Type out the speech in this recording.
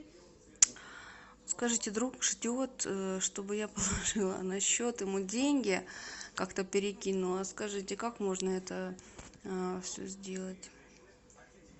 скажите друг ждет чтобы я положила на счет ему деньги как то перекинула скажите как можно это все сделать